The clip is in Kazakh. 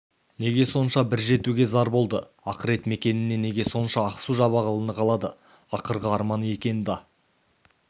неге сонша бір жетуге зар болды ақырет мекеніне неге сонша ақсу-жабағылыны қалады ақырғы арманы екен да